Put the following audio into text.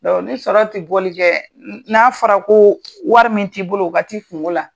ni sɔrɔ tɛ boli kɛ, n n'a fɔra ko wari min t'i bolo ka t'a kungo la.